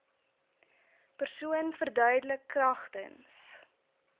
persoon verduidelik kragtens